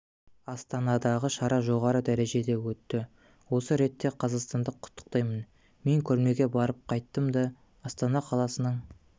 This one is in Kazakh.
астанадағы шара жоғары дәрежеде өтті осы ретте қазақстанды құттықтаймын мен көрмеге барып қайттым да астана қаласының